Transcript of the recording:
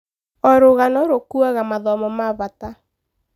O rũgano rũkuaga mathomo ma bata.